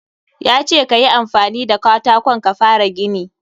Ya ce ka yi amfani da katakon ka fara gini.